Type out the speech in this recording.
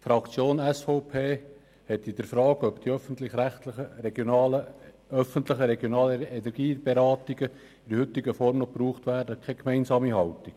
Die SVP-Fraktion hat in der Frage, ob die öffentlichen regionalen Energieberatungen in der heutigen Form noch gebraucht werden, keine gemeinsame Haltung.